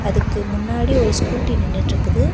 அதுக்கு முன்னாடி ஒரு ஸ்கூட்டி நின்னுட்டு இருக்குது.